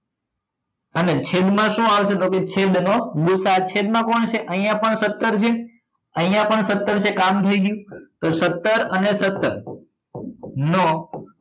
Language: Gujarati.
અને છેદ માં શું આવશે તો કે છેદ નો ગુસા અ છેદ માં કોણ છે અહિયાં પણ સત્તર છે અહિયાં પણ સત્તર છે કામ થઇ ગયું તો સત્તર અને સત્તર નો